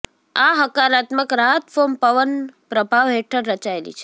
આ હકારાત્મક રાહત ફોર્મ પવન પ્રભાવ હેઠળ રચાયેલી છે